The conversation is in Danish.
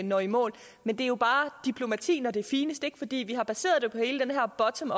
når i mål men det er jo bare diplomati når det er finest fordi vi har baseret det på hele den her bottom